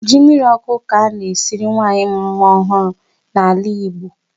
Ji mmirí ọkụ ka a na-esiri nwanyị mụrụ nwa ọhụụ n'ala Igbo.